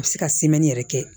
A bɛ se ka yɛrɛ kɛ